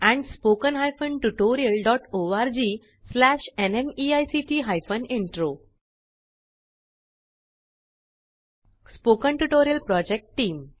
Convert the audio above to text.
spoken tutorial project team